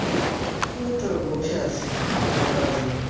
এইতো বসে আছি কোন কাজ নাই